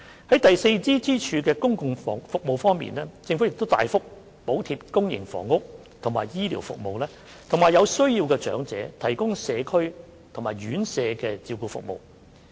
在第四支柱的公共服務方面，政府亦大幅補貼公營房屋和醫療服務，並為有需要的長者提供社區和院舍照顧服務。